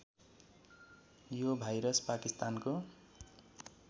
यो भाइरस पाकिस्तानको